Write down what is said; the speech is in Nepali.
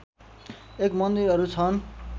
एक मन्दिरहरू छन्